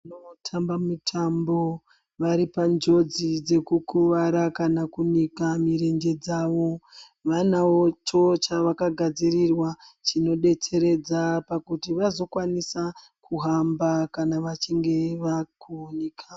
Vanotamba mitambo vari panjodzi dzekukuwara kana kunika mirenje dzawo. Vanawo cho chavakagadzirirwa chinodetseredza pakuti vazokwanisa kuhamba kana vachinge vakuhunika.